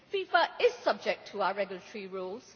FIFA is subject to our regulatory rules.